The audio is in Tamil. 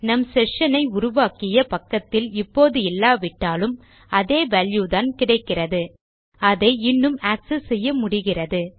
நம் செஷன் ஐ உருவாக்கிய பக்கத்தில் இப்போது இல்லாவிட்டாலும் அதே வால்யூ தான் கிடைக்கிறது அதை இன்னும் ஆக்செஸ் செய்ய முடிகிறது